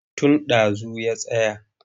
Tun ɗazu ya tsaya.